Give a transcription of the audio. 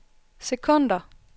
sekunder